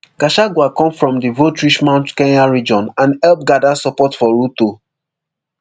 gachagua come from di voterich mount kenya region and help gada support for ruto